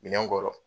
Minɛn kɔrɔ